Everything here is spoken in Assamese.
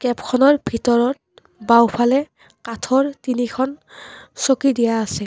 খনৰ ভিতৰত বাওঁফালে কাঠৰ তিনিখন চকী দিয়া আছে।